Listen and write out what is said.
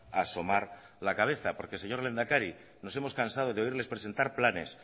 a asomar la cabeza porque señor lehendakari nos hemos cansado de oírles presentar planes